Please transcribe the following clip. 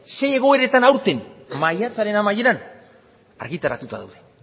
ze egoeretan aurten maiatzaren amaieran argitaratuta daude